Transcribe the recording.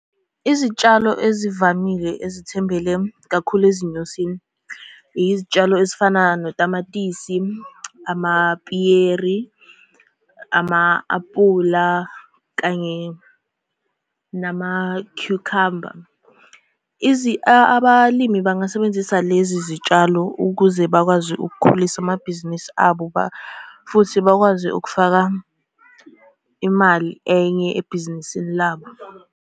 Izitshalo ezivamile ezithembele kakhulu ezinyosini, izitshalo ezifana notamatisi, amapiyeri, ama-apula kanye namakhukhamba. Abalimi bangasebenzisa lezi zitshalo ukuze bakwazi ukukhulisa amabhizinisi abo, futhi bakwazi ukufaka imali enye ebhizinisini labo.